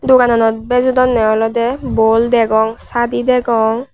dogananot bejodonney oley bol degong sadi degong.